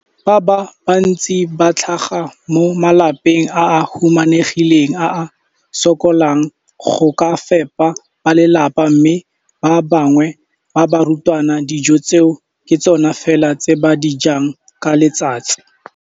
Bana ba le bantsi ba tlhaga mo malapeng a a humanegileng a a sokolang go ka fepa ba lelapa mme ba bangwe ba barutwana, dijo tseo ke tsona fela tse ba di jang ka letsatsi.